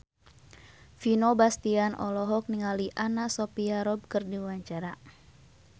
Vino Bastian olohok ningali Anna Sophia Robb keur diwawancara